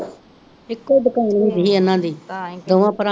ਇੱਕੋ ਦੁਕਾਨ ਹੁੰਦੀ ਹੀ ਇਹਨਾਂ ਦੀ ਦੋਵਾਂ ਭਰਾਵਾ